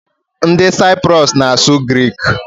Ndị Saiprus na-asụ grik.